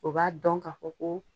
O b'a dɔn ka fɔ ko